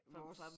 Vores